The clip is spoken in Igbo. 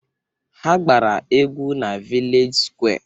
Ha gbara egwu na vilej sụkwé